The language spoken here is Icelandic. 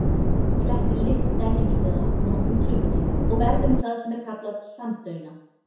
Flestri lykt venjumst við á nokkrum klukkutímum og verðum það sem er kallað samdauna.